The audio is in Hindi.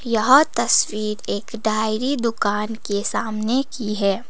यह तस्वीर एक डायरी दुकान के सामने की है।